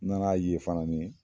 N nana ye fana ni